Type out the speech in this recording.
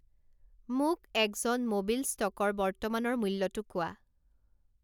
মোক এক্জন মোবিল ষ্ট'কৰ বৰ্তমানৰ মূল্যটো কোৱা